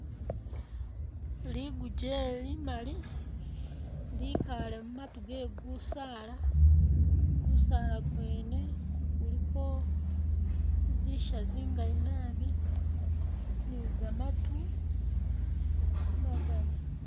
Liguje limali likale mumatu gekusaala gusaala gwene guliko zisha zingali nabi ni gamatu magali